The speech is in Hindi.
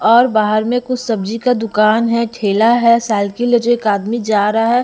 और बाहर में कुछ सब्जी का दुकान है ठेला है सायकल ले जो एक आदमी जा रहा है।